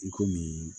I komi